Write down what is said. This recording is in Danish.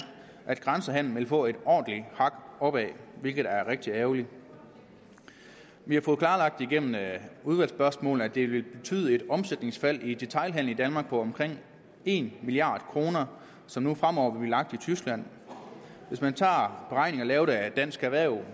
at grænsehandelen vil få et ordentligt hak opad hvilket er rigtig ærgerligt vi har gennem udvalgsspørgsmål at det vil betyde et omsætningsfald i detailhandelen i danmark på omkring en milliard kr som nu fremover vil blive lagt i tyskland hvis man tager beregninger lavet af dansk erhverv vil